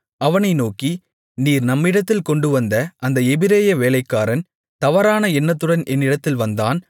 அவனை நோக்கி நீர் நம்மிடத்தில் கொண்டுவந்த அந்த எபிரெய வேலைக்காரன் தவறான எண்ணத்துடன் என்னிடத்தில் வந்தான்